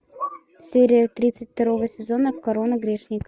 серия тридцать второго сезона корона грешника